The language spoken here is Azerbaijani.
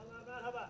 Qəhrəmanlar, Salam!